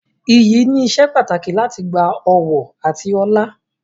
Iyì ni ìsepàtàkì láti gba ọ̀wọ̀ àti ọlá.